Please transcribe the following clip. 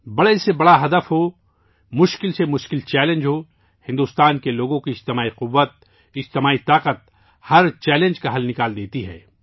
بڑے سے بڑا ہدف ہو، مشکل ترین چیلنج ہو، بھارت کے عوام کی اجتماعی کوشش، اجتماعی طاقت ، ہر چیلنج کو حل کردیتی ہے